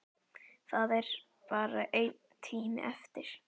Það er bara einn tími eftir.